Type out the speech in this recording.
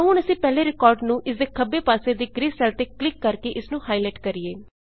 ਆਉ ਹੁਣ ਅਸੀਂ ਪਹਿਲੇ ਰਿਕਾਰਡ ਨੂੰ ਇਸਦੇ ਖੱਬੇ ਪਾਸੇ ਦੇ ਗ੍ਰੇ ਸੈਲ ਤੇ ਕਲਿੱਕ ਕਰ ਕੇ ਇਸਨੂੰ ਹਾਈਲਾਈਟ ਕਰੀਏ